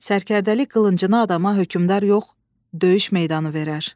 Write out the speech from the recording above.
Sərkərdəlik qılıncını adama hökmdar yox, döyüş meydanı verər.